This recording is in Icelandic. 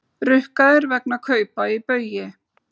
Rukkaðir vegna kaupa í Baugi